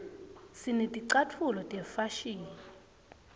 sineticatfulo tefashini